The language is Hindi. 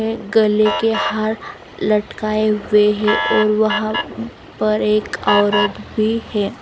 ने गले के हार लटकाए हुए हैं और वहां पर एक औरत भी है.